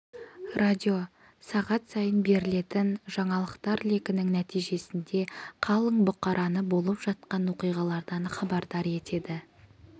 радио сағат сайын берілетін жаңалықтар легінің нәтижесінде қалың бұқараны болып жатқан оқиғалардан хабардар етеді